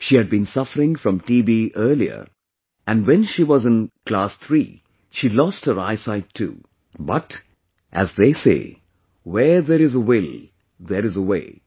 She had been suffering from TB earlier and when she was in the class three she lost her eyesight too, but, as they say, 'where there is a will, there is a way'